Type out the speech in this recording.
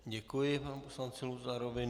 Děkuji panu poslanci Luzarovi.